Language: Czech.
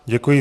Děkuji.